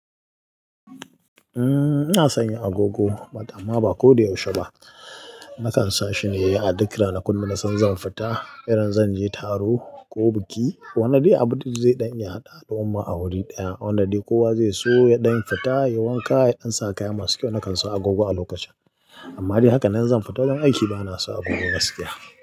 Ina san ya agogo, but amma ba ko da yaushe ba. Nakan sa shi ne a duk ranakun da nasan zan fita, irin zan je taro ko biki. Wani dai abu zai ɗan iya haɗa haɗuwar mu a wuri ɗaya, wanda dai kowa zai so ya ɗan fita, ya yi wanka, ya ɗan sa kaya masu kyau, nakan sa agogo a lokacin. Amma dai haka nan zan fita wajen aiki, bana sa agogo gaskiya.